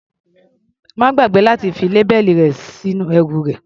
Má gbàgbé láti fi lábẹ́ẹ̀lì rẹ sórí ẹrù rẹ.